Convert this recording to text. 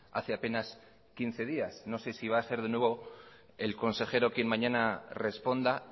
hace apenas quince días no sé si va a ser de nuevo el consejero quien mañana responda